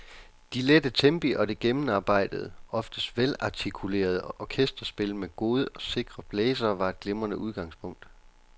De lette tempi og det gennemarbejdede, oftest velartikulerede orkesterspil med gode, sikre blæsere var et glimrende udgangspunkt.